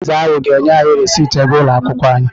Bọrzà ahụ ga-enye anyị rịsịtị ego ụlọ akwụkwọ anyị.